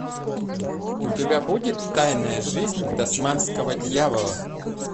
у тебя будет тайная жизнь тасманского дьявола